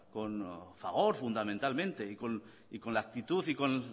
con fagor fundamentalmente y con la actitud y con